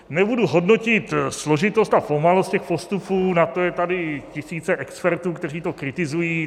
Nebudu hodnotit složitost a pomalost těch postupů, na to jsou tady tisíce expertů, kteří to kritizují.